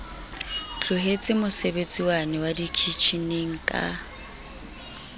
tlohetse mosebetsiwane wa dikitjheneng ka